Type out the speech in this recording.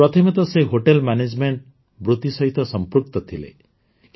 ପ୍ରଥମେ ତ ସେ ହୋଟେଲ୍ ମ୍ୟାନେଜ୍ମେଣ୍ଟ ବୃତ୍ତି ସହିତ ସଂପୃକ୍ତ ଥିଲେ